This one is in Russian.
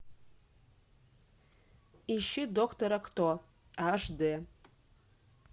ищи доктора кто аш д